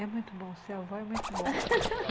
É muito bom, ser avó é muito bom